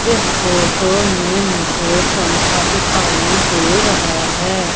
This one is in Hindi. इस फोटो में मुझे पंखा दिखाई दे रहा हैं।